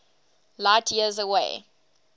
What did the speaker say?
light years away